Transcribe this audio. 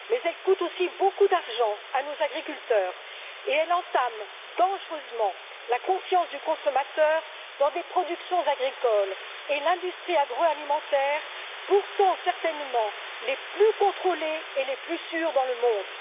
Elle coûte aussi beaucoup d'argent à nos agriculteurs et elle entame dangereusement la confiance du consommateur dans des productions agricoles et une industrie agroalimentaire, qui sont pourtant certainement les plus contrôlées et les plus sûres au monde.